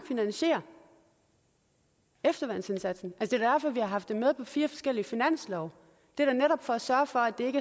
finansiere efterværnsindsatsen er da derfor vi har haft den med på fire forskellige finanslove det er da netop for at sørge for at det